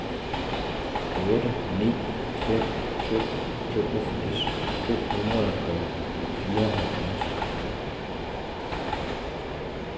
otte ni fem to toogfirs to hundrede og fireoghalvfjerds